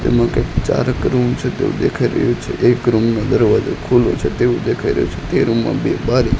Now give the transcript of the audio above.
તેમાં કંઈક ચારક રૂમ છે તેવું દેખાય રહ્યું છે એક રૂમ નો દરવાજો ખુલ્લો છે તેવું દેખાય રહ્યું છે તે રૂમ માં બે બારી--